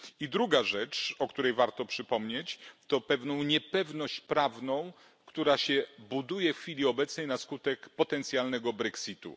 I druga rzecz, o której warto przypomnieć, to pewna niepewność prawna, która się buduje w chwili obecnej na skutek potencjalnego brexitu.